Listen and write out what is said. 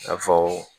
I n'a fɔ